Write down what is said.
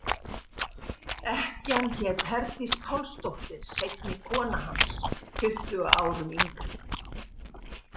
Ekkjan hét Herdís Pálsdóttir, seinni kona hans, tuttugu árum yngri.